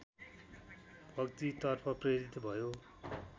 भक्तितर्फ प्रेरित भयो